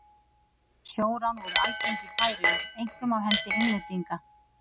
Sjórán voru algeng í Færeyjum, einkum af hendi Englendinga.